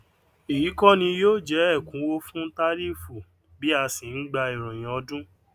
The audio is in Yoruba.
eyi kó ní yóó jẹ èkúnwó fún tàríìfù bí asi n gbà iroyin ọdún